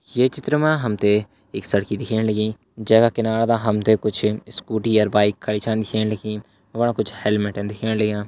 ये चित्र मा हम ते एक सड़की दिखेण लगीं जै का किनारा दा हमते कुछ स्कूटी अर बाइक खड़ी छन दिखेण लगीं वफणा कुछ हेलमेट दिखेण लग्यां।